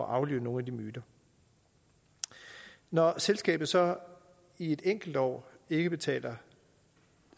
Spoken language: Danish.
aflive nogle af de myter når selskabet så i et enkelt år ikke betaler